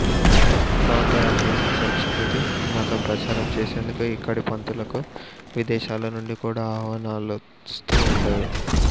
బౌద్ధ అభ్యాసం సంస్కృతి మతం ప్రచారం చేసేందుకు ఇక్కడి పండితులకు విదేశాలనుండి కూడా అహ్వానాలోస్తూ ఉండేవి